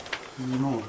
Yəqin ki, təzədir.